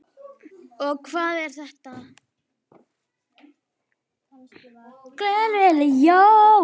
og Hvað er þetta?